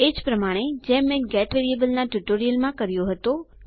એ જ રીતે જેમ મેં ગેટ વેરીએબલના ટ્યુટોરીયલમાં કર્યો હતો